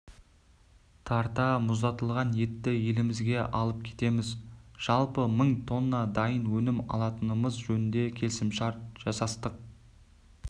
тарта мұздатылған етті елімізге алып кетеміз жалпы мың тонна дайын өнім алатынымыз жөнінде келісімшарт жасастық